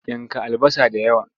Yanka albasa da yawa!